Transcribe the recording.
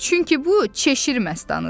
Çünki bu cheşir məstanıdır.